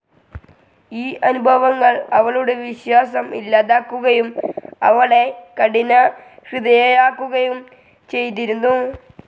ഈ അനുഭവങ്ങൾ അവളുടെ വിശ്വാസം ഇല്ലാതാക്കുകയും അവളെ കഠിനഹൃദയയാക്കുകയും ചെയ്തിരുന്നു.